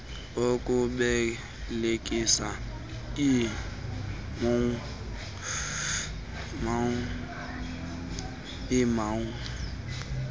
okubelekisa ii mou